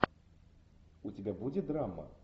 у тебя будет драма